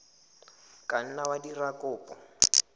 ka nna wa dira kopo